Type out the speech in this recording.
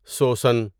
سوسن